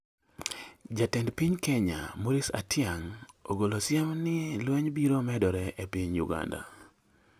Jatend piny Kenya, Maurice Atyang', ogolo siem ni lweny biro medore e piny Uganda